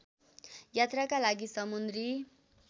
यात्राका लागि समुद्री